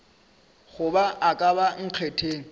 goba a ka ba nkgetheng